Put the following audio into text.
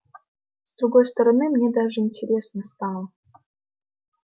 с другой стороны мне даже интересно стало